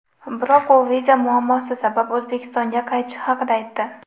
Biroq u viza muammosi sabab O‘zbekistonga qaytishi haqida aytdi.